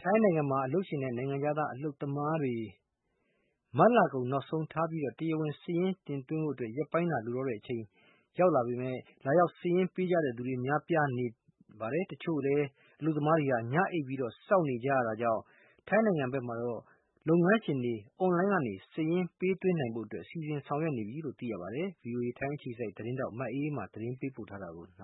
ထိုင်းနိုင်ငံမှာ အလုပ်ရှင်နဲ့ နိုင်ငံခြားသား အလုပ်သမားတွေမတ်လ ကုန်နောက်ဆုံးထား တရားဝင် စာရင်းတင်သွင်းဖို ရက်ပိုင်းသာလိုတော့တဲ့အချိန်မှာ လာရောက်စာရင်းပေးကြ တဲ့သူတွေ များပြားလာနေပြီး တချို့အလုပ်သမားတွေကတော့ ညအိပ်စောင့်နေကြရတာကြောင့်ထိုင်းနိုင်ငံဘက်တော့လုပ်ငန်းရှင်တွေ အွန်လိုင်းကနေ စာရင်းပေးသွင်းနိုင်ဖို့စီစဉ်ဆောင်ရွက်နေပါပြီ။ မအေးအေးမာသတင်းပေးပို့ထားပါတယ်။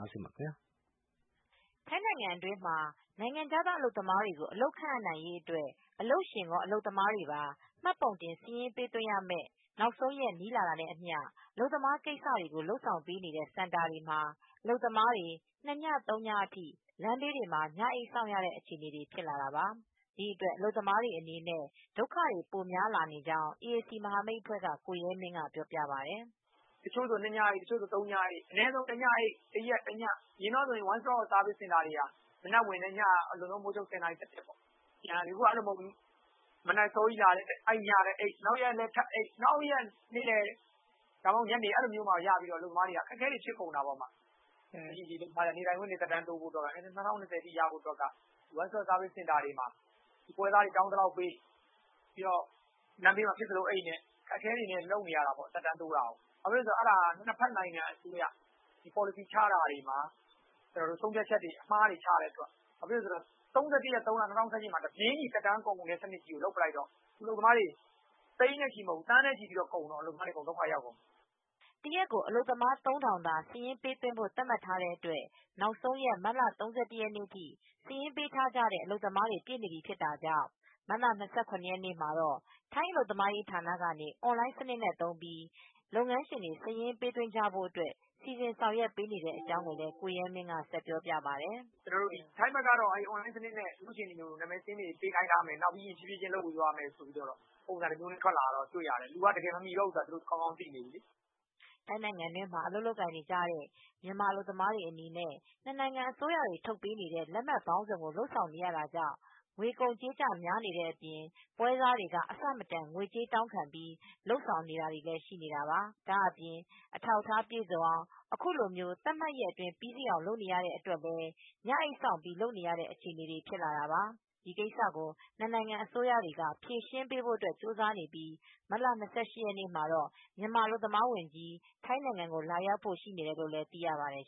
ထိုင်းနိုင်ငံတွင်းမှာနိုင်ငံခြားသားအလုပ်သမားတွေကို အလုပ်ခန့် အပ်နိုင်ရေးအတွက် အလုပ်ရှင်ကောအလုပ်သမားတွေပါ မှတ်ပုံတင်စာရင်းပေးသွင်းရမယ့် နောက်ဆုံးရက်နီးလာတာနဲ့ အမျှ အလုပ်သမားကိစ္စတွေကိုလုပ်ဆောင်ပေးတဲ့စင်တာတွေမှာ အလုပ်သမားတွေ ၂ည ၃ညအထိလမ်းဘေးတွေမှာ ညအိပ်စောင့်ရတဲ့အထိအခြေအနေတွေဖြစ်လာတာပါ ဒီအတွက်အလုပ်သမားတွေအနေနဲ့ ဒုက္ခတွေပိုများလာကြောင်း အေအေစီ မဟာမိတ်အဖွဲ့ က ကိုရဲမင်းကပြောပြပါတယ် ။ "တချိူ့ဆိုတညအိပ်တချိုဆို နှစ်ညအိပ် တချိုဆို ၃ညအိပ် အရင်ကဆို ဝမ်းစတော့ဆားဗစ်စင်တာတွေက မနက်ဝင်တယ် အလွန်ဆုံး ညထိပဲအခုဟာက ဒိနေ့မနက်အစောကြီး လာရင်နောက်နေ့လည်းညအိပ်တွေဖြစ်နေတာနောက်နေ့ထိ ထပ်အိပ်ရတော့ အဲဒီလိုမျိုးလုပ်မှ ရတော့အလုပ်သမားတွေကအခက်အခဲတွေဖြစ်ကုန်တာပေါ့။ နေထိုင်ခွင့်တွေသက်တမ်းတိုးဖို့၂၀၂၀ ထိရဖို့ အတွက်က ဝမ်းစတော့ဆားဗစ်စင်တာတွေမှာ ပွဲစားတွေတောင်းသလောက်ပေးပြိး လမ်းဘေးတွေမှာအိပ်ပြီး အခက်အခဲတွေဖြစ်ကုန်တာပေါ့။ သက်တမ်းတိုးတာကို အဲဒါကနှစ်ဖက်နိုင်ငံအစိုးရတွေက ပေါ်လစီချတဲ့ဟာ ဆုံးဖြတ်ချက်မှားတွေချတော့ ၃၁ရက်နေ့ ၃လ ၂၀၁၈မှာ တပြေးညီ အလုပ်သမားကဒ်တွေကိုသက်တမ်းကုန်မယ်ဆိုတော့ သိန်းတင်မကဘူးသန်းနဲ့ချီတဲ့အလုပ်သမားတွေဒုက္ခရောက်ကုန်တာ။" တရက်ကိုအလုပ်သမား ၃၀၀၀ သာစာရင်းပေးသွင်းဘို့သတ်မှတ်ထားတဲ့အတွက်နောက်ဆုံးရက် မတ်လ ၃၁ ရက်နေ့အထိ စာရင်းပေးထားကြတဲ့အလုပ် သမားတွေ ပြည့် နေပြီဖြစ်တာကြောင့် မတ်လ၂ရရက်နေ့မှာတော့ ထိုင်းအလုပ်သမားရေးဌာနက အွန်လိုင်းစနစ် နဲ့သုံးပြီး လုပ်ငန်းရှင်တွေ စာရင်းပေးဖို့ အထိ စီစဉ်ဆောင်ရွက်ပေးနေတဲ့အကြောင်းကိုရဲမင်းကဆက်ပြောပြပါတယ်။ "ထိုင်းဘက်ကတော့ အွန်လိုင်းစနစ်နဲ့နာမည်စာရင်းတွေပေးခိုင်းထားတယ် တဖြေးဖြေးလုပ်ခိုင်းမယ် ဆိုပြိးသတင်းထွက်တယ် သူကတော့မမှီတော့ဘူးဆိုတာကောင်းကောင်းသိသွားတယ်" ထိုင်းနိုင်ငံတွင်းမှာအလုပ်လုပ်ကိုင်နေကြတဲ့မြန်မာအလုပ်သမားတွေအနေနဲ့ နှစ်နိုင်ငံအစိုးရတွေထုတ်ပေးနေတဲ့လက်မှတ်ပေါင်းစုံကိုလုပ်ဆောင်နေရတာကြောင့်ငွေကုန်ကြေးကျတွေများတဲ့အပြင် ပွဲစားတွေက အဆမတန်ငွေကြေးတောင်းခံပြီးလုပ်ဆောင်နေတာတွေလည်းှရှိနေတာပါ။ ဒါ့အပြင်အထောက်အထားပြည့်စုံအောင် အခုလို သတ်မှတ်ရက်အတွင်းပြီးစီးအောင်လုပ်နေရတဲ့အတွက်လည်း ညအိပ်စောင့်ပြီး လုပ်နေရတဲ့အခြေအနေတွေဖြစ်လာတာပါ ဒီကိစ္စကိုတော့နှစ်နိုင်ငံ အစိုးရတွေကဖြေရှင်းဖို့ကြိုးစားနေပြီး မတ်လ ၂၈ ရက်နေ့မှာတော့ မြန်မာအလုပ်သမားဝန်ကြီး ထိုင်းနိုင်ငံကိုလာရောက်ဖို့ ရှိနေတယ်လို့လည်းသိရှိရပါတယ်